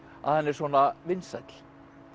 að hann er svona vinsæll